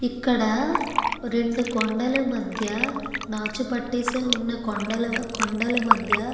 ఇక్కడ రెండు కొండల మద్య నాచు పట్టేసి వున్నా కొండల మద్య --